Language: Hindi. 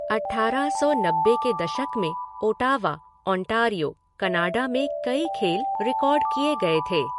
अठ्ठारह सौ नब्बे के दशक में ओटावा, ओंटारियो, कनाडा में कई खेल रिकॉर्ड किए गए थे